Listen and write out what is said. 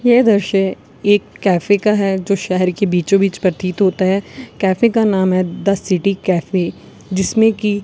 ये दृश्य एक कैफे का है जो शहर के बीचों बीच प्रतीत होता है कैफे का नाम है द सिटी कैफे जिसमें की--